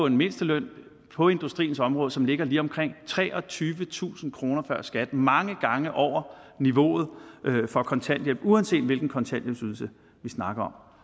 en mindsteløn på industriens område som ligger på lige omkring treogtyvetusind kroner før skat altså mange gange over niveauet for kontanthjælp uanset hvilken kontanthjælpsydelse vi snakker